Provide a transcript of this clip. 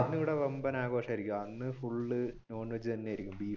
അന്ന് ഇവിടെ വമ്പൻ ആഘോഷമായിരിക്കും അന്ന് full non veg തന്നെയായിരിക്കും.